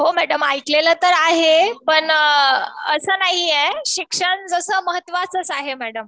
हो मॅडम ऐकलेलं तर आहे. पण असं नाहीये. शिक्षण जसं महत्वाचच आहे मॅडम.